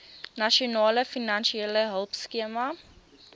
nasionale finansiële hulpskema